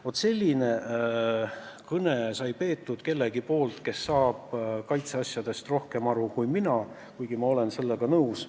Vaat sellise kõne pidas keegi, kes saab kaitseteemadest paremini aru kui mina, ning mina olen sellega nõus.